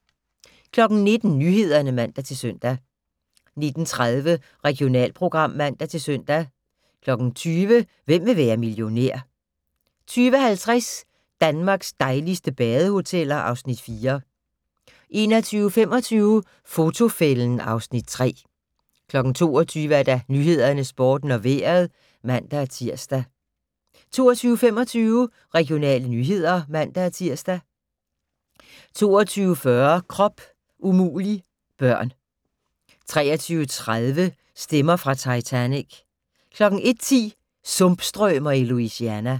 19:00: Nyhederne (man-søn) 19:30: Regionalprogram (man-søn) 20:00: Hvem vil være millionær? 20:50: Danmarks dejligste badehoteller (Afs. 4) 21:25: Fotofælden (Afs. 3) 22:00: Nyhederne, Sporten og Vejret (man-tir) 22:25: Regionale nyheder (man-tir) 22:40: Krop umulig - børn 23:30: Stemmer fra Titanic 01:10: Sumpstrømer i Louisiana